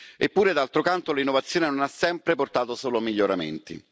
Eppure, d'altro canto, l'innovazione non ha sempre portato solo miglioramenti.